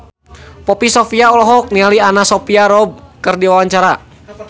Poppy Sovia olohok ningali Anna Sophia Robb keur diwawancara